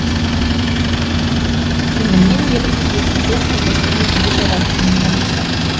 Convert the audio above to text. сонымен ерін үндесінде тіліміздің өзіндік жарасымын танытты